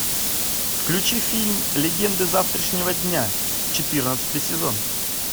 включи фильм легенды завтрашнего дня четырнадцатый сезон